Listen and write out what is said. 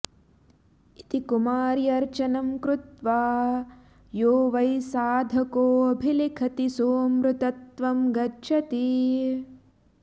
इति कुमार्यर्चनं कृत्वा यो वै साधकोऽभिलिखति सोऽमृतत्वं गच्छति